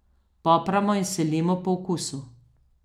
Popramo in solimo po okusu.